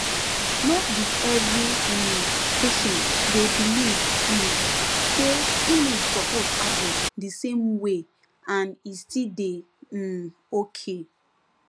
no be every um patient dey believe um say healing suppose happen the same way and e still dey um okay